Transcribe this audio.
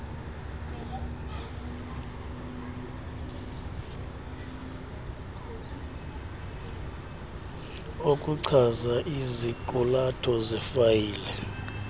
okuchaza iziqulatho zefayile